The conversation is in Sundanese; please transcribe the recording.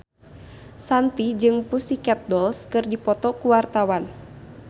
Shanti jeung The Pussycat Dolls keur dipoto ku wartawan